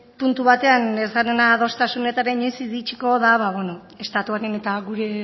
puntu batean ez garena adostasunetara inoiz iritsiko da ba beno estatuaren eta